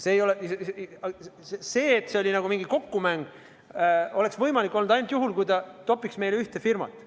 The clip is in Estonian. See, et tegemist oli mingisuguse kokkumänguga, oleks võimalik olnud ainult juhul, kui ta oleks toppinud meile ühte firmat.